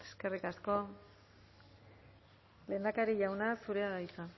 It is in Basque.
eskerrik asko lehendakari jauna zurea da hitza